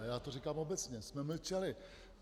A já to říkám obecně, jsme mlčeli.